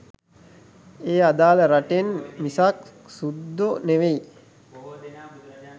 ඒ අදාල රටෙන් මිසක් සුද්දො නෙවෙයි.